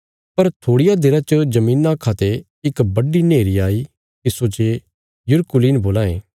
पर थोड़िया देरा च धरतिया खा ते इक बड्डी नेहरी आई तिस्सो जे युरकुलीन बोलां ये